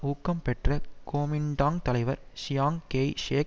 ஊக்கம் பெற்ற கோமிண்டாங் தலைவர் சியாங் கேய் ஷேக்